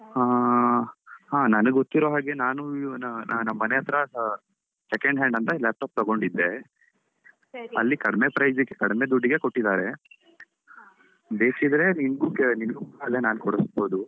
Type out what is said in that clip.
ಹಾ ಹಾ ನನ್ಗ್ ಗೊತ್ತಿರೋ ಹಾಗೆ ನಾನು ಇವನ ನಮ್ ಮನೆ ಹತ್ರ second hand ಅಂತ laptop ತಗೊಂಡಿದ್ದೆ, ಅಲ್ಲಿ ಕಡಿಮೆ price ಗೆ ಕಡಿಮೆ ದುಡ್ಡಿಗೆ ಕೊಟ್ಟಿದ್ದಾರೆ. ಬೇಕಿದ್ರೆ ನಿಂಗು ಕೆ~ ನಿಂಗು ಅಲ್ಲೇ ನಾ ಕೊಡಿಸ್ಬೋದು.